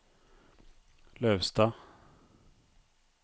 Lauvstad